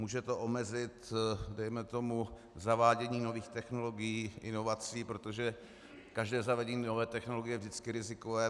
Může to omezit, dejme tomu, zavádění nových technologií, inovací, protože každé zavedení nové technologie je vždycky rizikové.